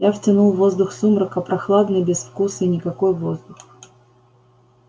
я втянул воздух сумрака прохладный безвкусный никакой воздух